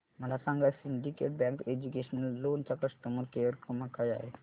मला सांगा Syndicate Bank educational loan चा कस्टमर केअर क्रमांक काय आहे